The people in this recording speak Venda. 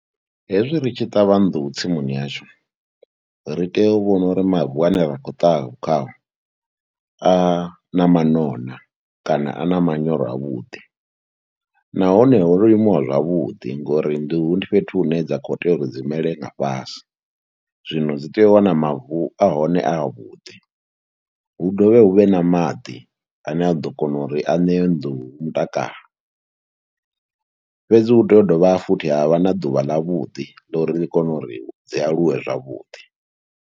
Hezwi ri tshi ṱavha nḓuhu tsimuni yashu ri tea u vhona uri mavu ane ra khou ṱavha khao a na mano na kana a na manyoro avhuḓi, nahone ho limiwa zwavhuḓi ngori nḓuhu ndi fhethu hune dza khou tea uri dzi mele nga fhasi. Zwino dzi tea u wana mavu a hone a avhuḓi, hu dovhe hu vhe na maḓi ane a ḓo kona uri a ṋee nḓuhu mutakalo, fhedzi hu tea u dovha futhi ha vha na ḓuvha ḽavhuḓi ḽa uri ḽi kone uri dzi aluwe zwavhuḓi.